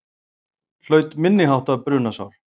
Hlaut minniháttar brunasár